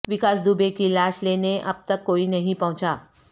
وکاس دوبے کی لاش لینے اب تک کوئی نہیں پہنچا